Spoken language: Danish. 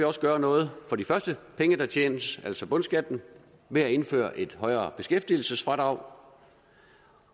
også gøre noget for de første penge der tjenes altså bundskatten ved at indføre et højere beskæftigelsesfradrag